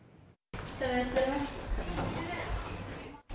сәлеметсіздер ме сәлеметсіз